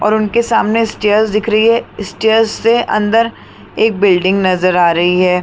और उनके सामने स्टेयर्स दिख रही है स्टेयर्स से अंदर एक बिल्डिंग नजर आ रही है।